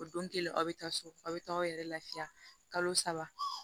O don kelen aw bɛ taa so aw bɛ taa aw yɛrɛ lafiya kalo saba